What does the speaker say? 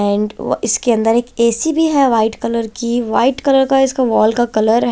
Paint इसके अंदर एक एसी भी है वाईट कलर की वाईट कलर का इसका वाल का कलर है।